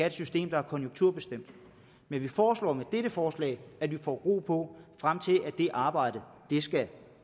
et system der er konjunkturbestemt men vi foreslår med dette forslag at vi får ro på frem til at det arbejde skal